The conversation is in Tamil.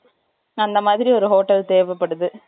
அந்த மாதிரி ஒரு hotel தேவைப்படுது